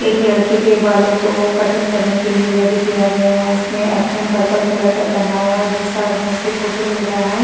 एक लड़के के बालों को कटिंग करने के लिए रेडी किया गया है। उसने एप्रॉन पर्पल कलर का पहना हुआ है दूसरा आदमी उसका फोटो ले रहा है।